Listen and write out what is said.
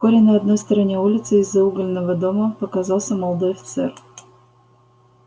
вскоре на одной стороне улицы из-за угольного дома показался молодой офицер